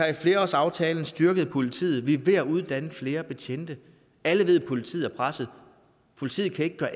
i flerårsaftalen styrket politiet vi er ved at uddanne flere betjente alle ved at politiet er presset politiet kan ikke gøre